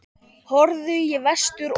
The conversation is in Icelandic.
Horfðu í vestur og.